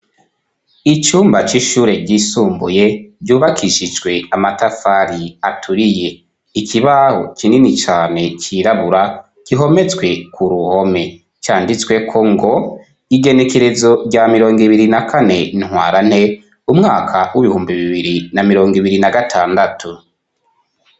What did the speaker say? Icumba c'ishure ryisumbuye ryubakishijwe amatafari aturiye, ikibaho kinini cane cirabura gihometswe ku ruhome canditsweko ngo igenekerezo rya mirongo ibiri na kane Ntwarante, umwaka w'ibihumbi bibiri na mirongo ibiri na gatandatu.